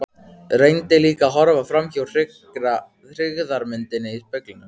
Reyndi líka að horfa framhjá hryggðarmyndinni í speglinum.